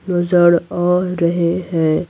नजर आ रहे हैं।